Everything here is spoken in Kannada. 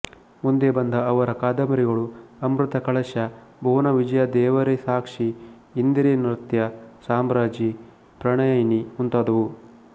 ಮುಂದೆ ಬಂದ ಅವರ ಕಾದಂಬರಿಗಳು ಅಮೃತ ಕಳಶ ಭುವನ ವಿಜಯ ದೇವರೇ ಸಾಕ್ಷಿ ಇಂದಿರೆ ನೃತ್ಯ ಸಾಮ್ರಾಜ್ಞಿ ಪ್ರಣಯಿನಿ ಮುಂತಾದವು